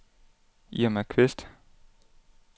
Irma Qvist